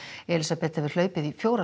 Elísabet hefur hlaupið í fjóra